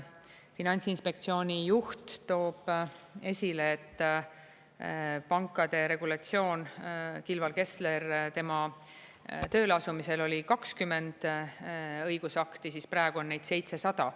Finantsinspektsiooni juht toob esile, et pankade regulatsioon – Kilvar Kessler toob esile, et tema tööleasumisel oli 20 õigusakti, praegu on neid 700.